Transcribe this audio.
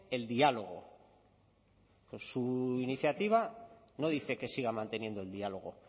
el diálogo pues su iniciativa no dice que siga manteniendo el diálogo